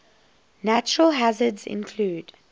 natural hazards include